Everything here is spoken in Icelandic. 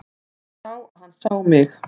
Ég sá að hann sá mig.